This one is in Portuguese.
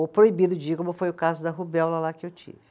Ou proibido de ir, como foi o caso da rubéola lá que eu tive.